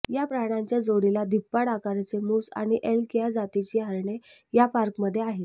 या प्राण्यांच्या जोडीला धिप्पाड आकाराचे मूस आणि एल्क या जातीची हरणे या पार्कमध्ये आहेत